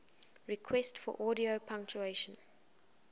requests for audio pronunciation